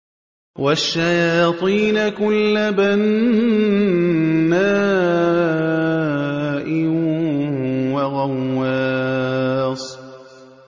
وَالشَّيَاطِينَ كُلَّ بَنَّاءٍ وَغَوَّاصٍ